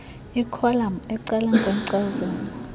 ikholam ecaleni kwenkcazelo